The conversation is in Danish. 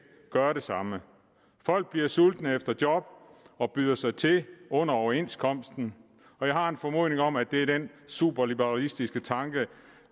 gøre det samme folk bliver sultne efter job og byder sig til under overenskomsten jeg har en formodning om at det er den super liberalistiske tanke